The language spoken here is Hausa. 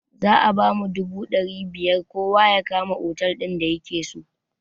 Za a bamu dubu ɗari biyar kowa ya kama otal din da yakeso